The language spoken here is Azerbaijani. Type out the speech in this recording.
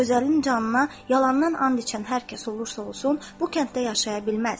Gözəlin canına yalandan and içən hər kəs olursa olsun, bu kənddə yaşaya bilməz.